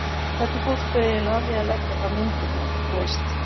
hvernig fórstu eiginlega að því að leggja fram myndirnar, þú veist.